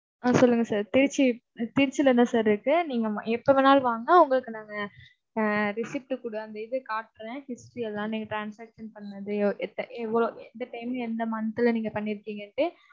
ஆஹ் சொல்லுங்க sir திருச்சி திருச்சியில தான் sir இருக்கு. நீங்க எப்ப வேணாலும் வாங்க உங்களுக்கு நாங்க அஹ் receipt கூட அந்த இது காட்டுறேன் history எல்லாமே transaction பண்ணது எத்த~ எவ்ளோ எந்த time எந்த month ல நீங்கப் பண்ணியிருக்கீங்கண்ட்டு